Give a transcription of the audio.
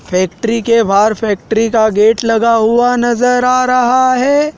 Factory के बाहर factory का गेट लगा हुआ नजर आ रहा है।